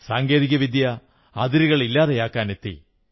സാങ്കേതികവിദ്യ അതിരുകൾ ഇല്ലാതെയാക്കാനെത്തി